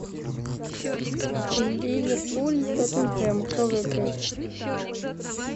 ливерпуль тоттенхэм кто выиграет